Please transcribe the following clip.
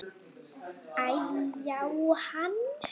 Æ-já, hann.